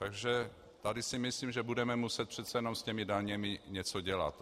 Takže tady si myslím, že budeme muset přece jenom s těmi daněmi něco dělat.